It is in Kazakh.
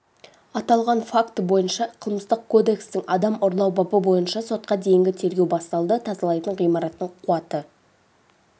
аталған факті бойынша қылмыстық кодекстің адам ұрлау бабы бойынша сотқа дейінгі тергеу басталды тазалайтын ғимараттың қуаты